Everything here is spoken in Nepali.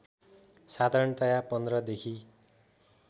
साधारणतया १५ देखि